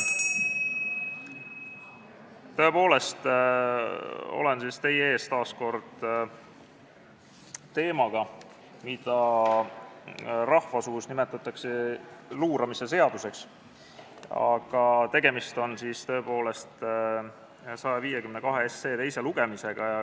Tõepoolest olen teie ees taas kord seadusega, mida rahvasuus nimetatakse luuramise seaduseks, aga tegemist on eelnõu 152 teise lugemisega.